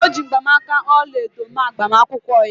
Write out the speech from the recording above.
O ji mgbanaka ọla edo mee agbamakwụkwọ ya